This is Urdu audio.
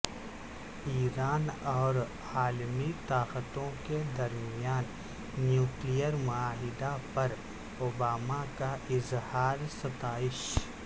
ایران اور عالمی طاقتوں کے درمیان نیوکلیر معاہدہ پر اوباما کا اظہار ستائش